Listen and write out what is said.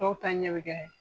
Dɔw ta ɲɛ bɛ kɛ